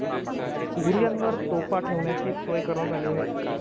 बुरूजांवर तोफा ठेवण्याची सोय करण्यात आली आहे.